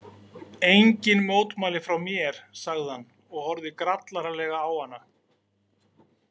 Engin mótmæli frá mér, sagði hann og horfði grallaralega á hana.